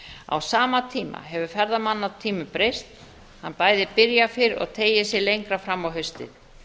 á sama tíma hefur ferðamannatíminn breyst hann bæði byrjar fyrr og teygir sig lengra fram á haustið